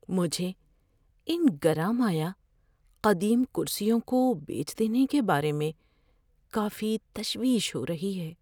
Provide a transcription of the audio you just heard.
مجھے ان گراں مایہ قدیم کرسیوں کو بیچ دینے کے بارے میں کافی تشویش ہو رہی ہے۔